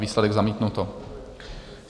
Výsledek: zamítnuto.